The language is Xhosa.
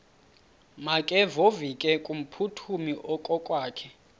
makevovike kumphuthumi okokwakhe